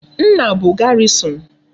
Nna bu garrison